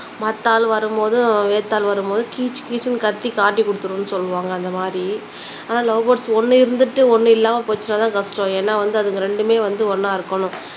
மத்த ஆள் வரும்போது, வேற்று ஆள் வரும்போது கீச் கீச்ன்னு கத்தி காட்டி குடுத்துடும்னு சொல்லுவாங்க அந்த மாதிரி ஆனா லவ் பேர்ட்ஸ் ஒண்ணு இருந்துட்டு ஒண்ணு இல்லாம போச்சுன்னா தான் கஷ்டம் ஏன்னா அதுங்க ரெண்டுமே வந்து ஒன்னா இருக்கனும்